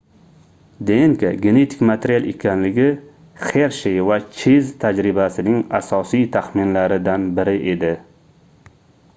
dnk genetik material ekanligi xershey va cheyz tajribasining asosiy taxminlaridan biri edi